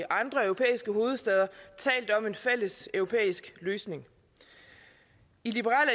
andre europæiske hovedstæder talt om en fælles europæisk løsning i liberal